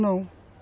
Não.